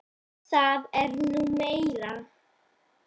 Það er nú meira.